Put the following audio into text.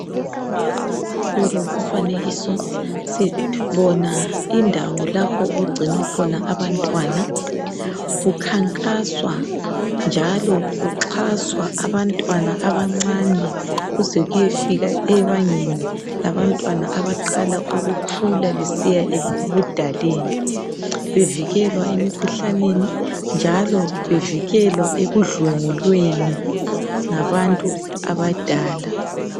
Kulomfanekiso sithola indawo lapho okungcinwa khona abantwana kukhankaswa njalo kuxaswa abantwana abancane kuze kuyefika ebangeni labantwana abaqala ukukhula besiya ebudaleni bevikelwa emkhuhlaneni njalo bevikelwa ekundlengulweni ngabantu abadala